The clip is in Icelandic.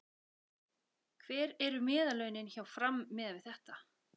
Hver eru meðallaunin hjá Fram miðað við þetta?